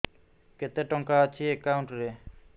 କେତେ ଟଙ୍କା ଅଛି ଏକାଉଣ୍ଟ୍ ରେ